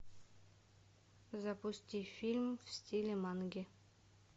запусти фильм в стиле манги